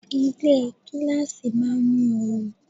Ilé gíláàsì máa ń mú oru.